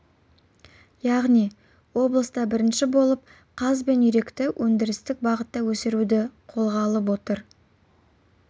яғни облыста бірінші болып қаз бен үйректі өндірістік бағытта өсіруді қолға алып отыр